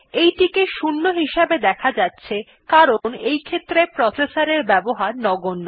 এইটিকে 0 হিসেবে দেখা যাচ্ছে কারণ এইক্ষেত্রে প্রসেসর এর ব্যবহার নগন্য